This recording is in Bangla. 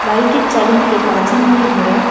বাড়িটির চারিদিকে প্রাচীল দিয়ে ঘেরা।